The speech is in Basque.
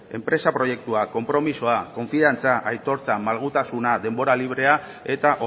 enpresa proiektua konpromisoa konfiantza aitortza malgutasuna denbora librea eta